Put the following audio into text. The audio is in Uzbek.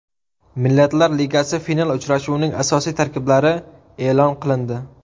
Millatlar Ligasi final uchrashuvining asosiy tarkiblari e’lon qilindi.